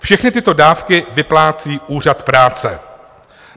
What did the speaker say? Všechny tyto dávky vyplácí úřad práce.